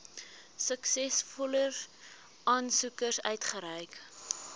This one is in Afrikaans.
suksesvolle aansoekers uitgereik